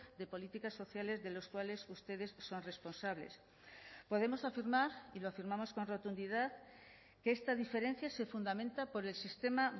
de políticas sociales de los cuales ustedes son responsables podemos afirmar y lo firmamos con rotundidad que esta diferencia se fundamenta por el sistema